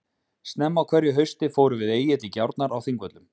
Snemma á hverju hausti förum við Egill í gjárnar á Þingvöllum.